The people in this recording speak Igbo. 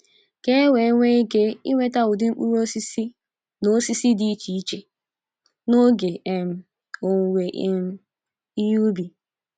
Ka ewee nwee ike inweta ụdị mkpụrụ osisi na osisi dị iche iche n'oge um owuwe um ihe ubi.